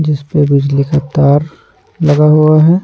जिस पर बिजली का तार लगा हुआ है।